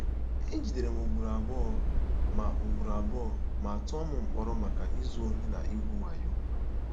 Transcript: E jidere m ugboro abụọ ma ugboro abụọ ma tụọ m mkpọrọ maka izu ohi na igwu wayo.